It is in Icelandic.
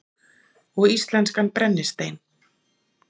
Og íslenskan brennistein.